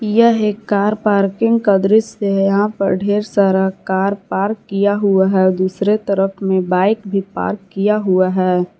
यह एक car parking का दृश्य है यहां पर ढेर सारा कार पार्क किया हुआ है दूसरे तरफ में बाइक भी पार्क किया हुआ है।